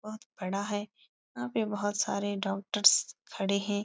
बहुत बड़ा है। यहाँ पे बहुत सारे डॉक्टरस खड़े हैं।